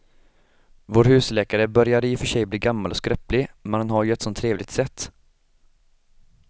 Vår husläkare börjar i och för sig bli gammal och skröplig, men han har ju ett sådant trevligt sätt!